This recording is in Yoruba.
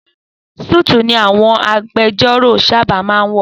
Súùtù ni àwọn agbejọ́rò sábà máa ń wọ̀.